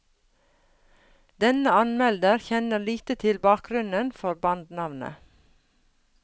Denne anmelder kjenner lite til bakgrunnen for bandnavnet.